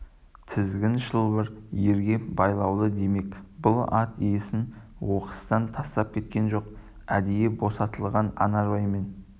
тізгін шылбыр ерге байлаулы демек бұл ат иесін оқыстан тастап келген жоқ әдейі босатылған анарбай мен